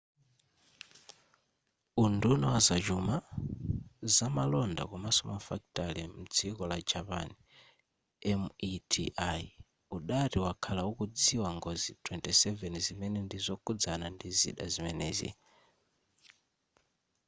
unduna wa zachuma zamalonda komanso mafakitare mdziko la japan meti udati wakhala ukudziwa ngozi 27 zimene ndi zokhudzana ndi zida zimenezi